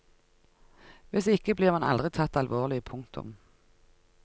Hvis ikke blir man aldri tatt alvorlig. punktum